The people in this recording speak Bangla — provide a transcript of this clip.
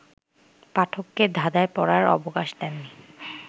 পাঠককে ধাঁধায় পড়ার অবকাশ দেননি